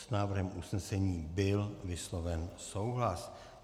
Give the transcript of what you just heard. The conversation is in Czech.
S návrhem usnesení byl vysloven souhlas.